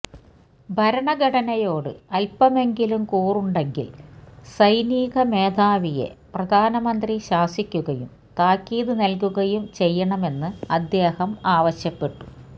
ഭരണഘടനയോട് അല്പ്പമെങ്കിലും കൂറുണ്ടെങ്കില് സൈനിക മേധാവിയെ പ്രധാനമന്ത്രി ശാസിക്കുകയും താക്കീത് നല്കുകയും ചെയ്യണമെന്ന് അദ്ദേഹം ആവശ്യപ്പെട്ടു